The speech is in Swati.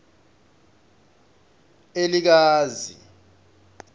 elikazi